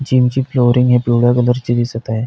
जीमची flooring ही पिवळ्या कलरची दिसत आहे.